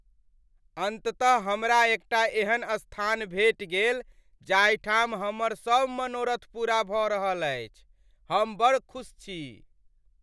अन्ततः हमरा एकटा एहन स्थान भेटि गेल जाहि ठाम हमर सब मनोरथ पूरा भऽ रहल अछि। हम बड़ खुस छी।